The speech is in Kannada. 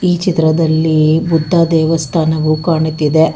ಈ ಚಿತ್ರದಲ್ಲಿ ಬುದ್ಧ ದೇವಸ್ಥಾನವು ಕಾಣುತ್ತಿದೆ.